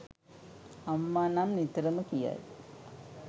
අම්මා නම් නිතරම කියයි.